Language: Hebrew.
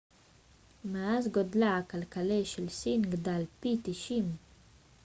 מאז גודלה הכלכלי של סין גדל פי 90